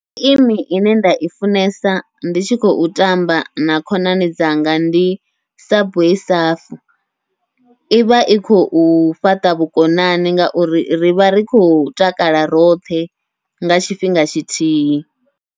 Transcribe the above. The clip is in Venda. Geimi ine nda i funesa ndi tshi khou tamba na khonani dzanga, ndi subway surf ivha i khou fhaṱa vhukonani ngauri rivha ri khou takala roṱhe nga tshifhinga tshithihi.